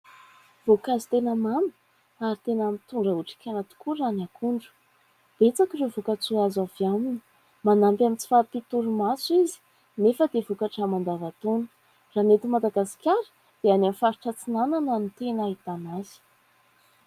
voankazo tena mamy ary tena mitondra otrikaina tokoa raha ny akondro , betsaka ireo voka-tsoa azo avy aminy; manampy amin'ny tsy fahampian-torimaso izy nefa dia vokatra mandavan-taona ; raha ny eto Madagasikara dia any amin'ny faritra Atsinanana ny tena ahitana azy